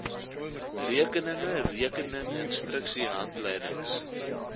rekeninge rekening instruksiehandleidings